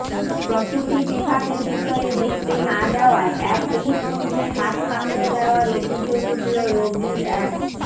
প্রসূতি বিভাগের ভিতরে ঢুকতে না দেওয়ায় এক পুলিশকর্মীর হাত কামড়ে দেওয়ার অভিযোগ উঠল রোগীর এক